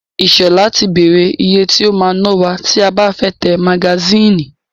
Ìṣọ̀lá ti bèrè ìyè tí o máa ná wa tí a bá fẹ́ tẹ magasínì.